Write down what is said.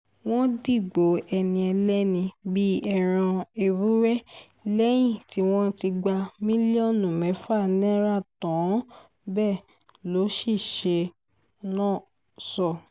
wọ́n dìgbò ẹni ẹlẹ́ni bíi ẹran ewúrẹ́ lẹ́yìn tí wọ́n ti gba mílíọ̀nù mẹ́fà náírà tán bẹ́ẹ̀ lọ́ṣiṣẹ́ náà sọ